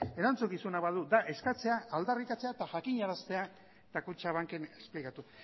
erantzukizuna badu da eskatzea aldarrikatzea eta jakinaraztea eta kutxabanken esplikatu